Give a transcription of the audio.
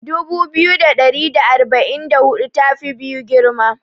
Dubu biyu da ɗari da arba'in da hudu ta fi biyu girma.